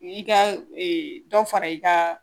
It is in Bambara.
I ka dɔ fara i ka